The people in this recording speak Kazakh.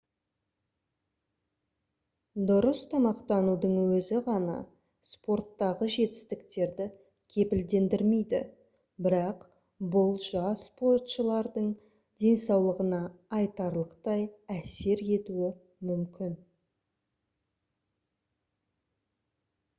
дұрыс тамақтанудың өзі ғана спорттағы жетістіктерді кепілдендірмейді бірақ бұл жас спортшылардың денсаулығына айтарлықтай әсер етуі мүмкін